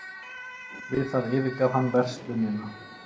Við það yfirgaf hann verslunina